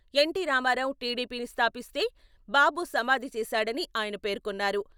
NT Rama Rao టీడీపీని స్థాపిస్తే బాబు సమాధి చేశాడని ఆయన పేర్కొన్నారు.